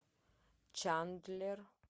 чандлер